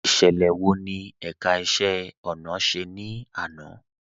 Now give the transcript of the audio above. Ìṣẹlẹ wọ́ ni ẹ̀ká ìṣẹ̀ ọ̀nà ṣẹ̀ ni àná?